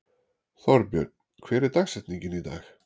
Þorbjörn, hver er dagsetningin í dag?